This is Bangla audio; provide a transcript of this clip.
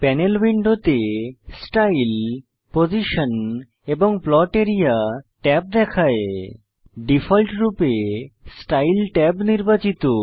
পানেল উইন্ডোতে স্টাইল পজিশন এবং প্লট আরিয়া ট্যাব দেখায় ডিফল্টরূপে স্টাইল ট্যাব নির্বাচিত